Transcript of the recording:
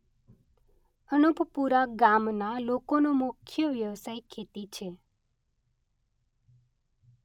અનોપપુરા ગામના લોકોનો મુખ્ય વ્યવસાય ખેતી છે.